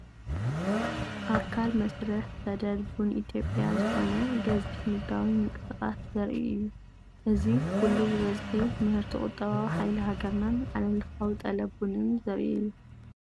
ኣካል መስርሕ ሰደድ ቡን ኢትዮጵያ ዝኾነ ገዚፍ ንግዳዊ ምንቅስቓስ ዘርኢ እዩ። እዚ ኩሉ ብብዝሒ ምህርቲ ቁጠባዊ ሓይሊ ሃገርናን ዓለምለኻዊ ጠለብ ቡንን ዘርኢ እዩ!